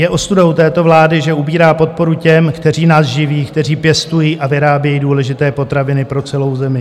Je ostudou této vlády, že ubírá podporu těm, kteří nás živí, kteří pěstují a vyrábějí důležité potraviny pro celou zemi.